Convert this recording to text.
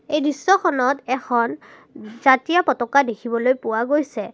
এই দৃশ্যখনত এখন জাতীয় পতকা দেখিবলৈ পোৱা গৈছে।